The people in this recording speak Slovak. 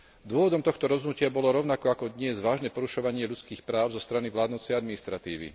Dôvodom tohto rozhodnutia bolo, rovnako ako dnes, vážne porušovanie ľudských práv zo strany vládnucej administratívy.